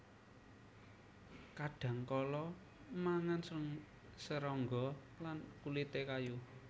Kadhangkala mangan serangga lan kulité kayu